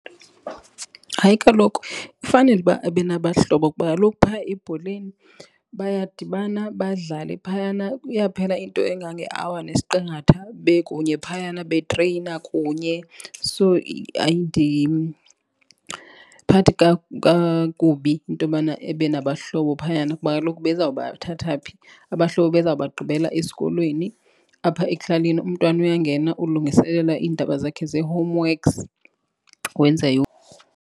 Hayi, kaloku kufanele uba abe nabahlobo kuba kaloku phaa ebholeni bayadibana, badlale phayana iyaphela into engangeawa nesqingatha bekunye phayana betreyina kunye. So, ayindiphathi kakubi intobana ebe nabahlobo phayana kuba kaloku beza kubathatha phi, abahlobo beza kubagqibela esikolweni. Apha ekuhlaleni umntwana uyangena ulungiselela iindaba zakhe zee-homeworks wenza .